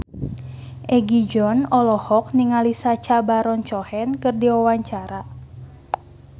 Egi John olohok ningali Sacha Baron Cohen keur diwawancara